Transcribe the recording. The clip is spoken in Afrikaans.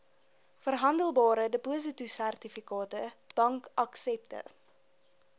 verhandelbare depositosertifikate bankaksepte